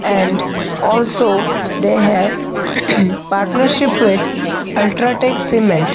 and also they have partnership with ultra tech cement.